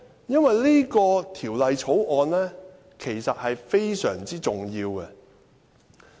因為《條例草案》其實是非常重要的。